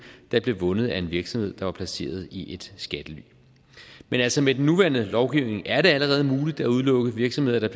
der blev vundet af en virksomhed der var placeret i et skattely men altså med den nuværende lovgivning er det allerede muligt at udelukke virksomheder der